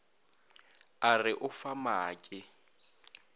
a re o fa maake